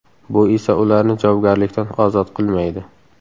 Bu esa ularni javobgarlikdan ozod qilmaydi.